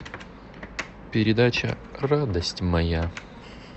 передача радость моя